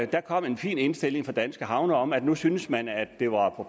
der kom en fin indstilling fra danske havne om at nu syntes man at det var på